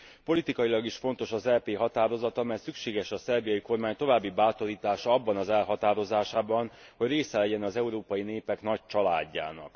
Politikailag is fontos az EP határozata, mert szükséges a szerbiai kormány további bátorítása abban az elhatározásában, hogy része legyen az európai népek nagy családjának.